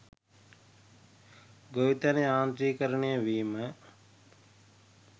ගොවිතැන යාන්ත්‍රීකරණය වීම